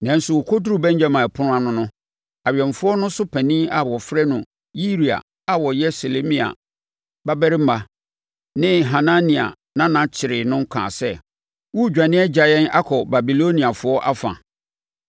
Nanso, ɔkɔduruu Benyamin Ɛpono ano no, awɛmfoɔ no so panin a wɔfrɛ no Yiria a ɔyɛ Selemia babarima ne Hanania nana kyeree no kaa sɛ, “Woredwane agya yɛn akɔ Babiloniafoɔ afa!”